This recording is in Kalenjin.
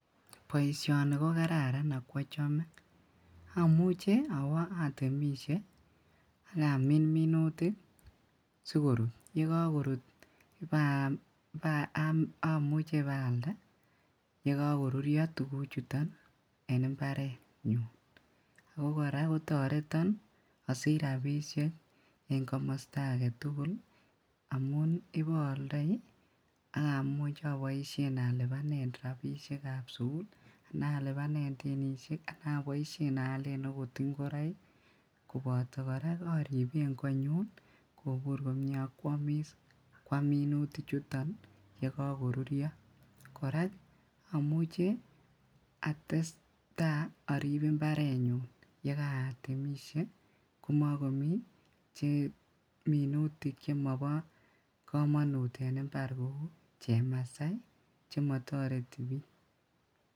Boisioni kokararan akwochome omuche owo otemisie ak amin minutik sikorut yekokorut omuche ibaalda yekokorurio tuguchuton en imbarenyun , ako koraa kotoreton osich rabisiek en komosto agetugul amun ibooldoi ii ak amuch alibanen rabisiekab sukul anan oboisien alibanen denisiek anan aalen ingoroik koboto koraa oriben konyun komie okwomis kwam minutichoton ii ye kokorurio koraa omuche atestaa orib imbarenyun yekaotemisie komokomi minutik chemobokomonut chemotoreti bik.